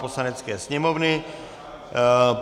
Poslanecké sněmovny